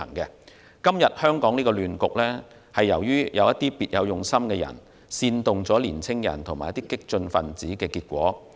香港今天的亂局，是由於有別有用心的人煽動年青人與激進分子的結果。